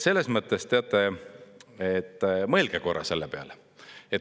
Selles mõttes, teate, mõelge korra selle peale.